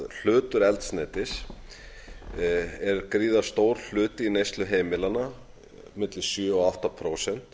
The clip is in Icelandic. hlutur eldsneytis er gríðarstór hluti í neyslu heimilanna milli sjö og átta prósent